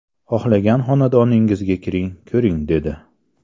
Xohlagan xonadoningizga kiring, ko‘ring‘ , dedi.